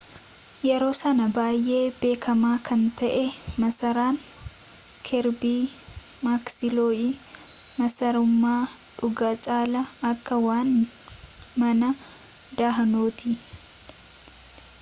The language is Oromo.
yeroo sanaa baay'ee beekamaa kan ta'e masaraan kerbii maaksiloo'ii masarummaa dhugaa caalaa akka waan mana dahannooti